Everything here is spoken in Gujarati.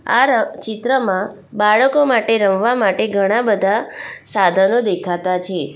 આ ર ચિત્રમાં બાળકો માટે રમવા માટે ઘણા બધા સાધનો દેખાતા છે.